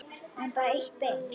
En bara eitt bein.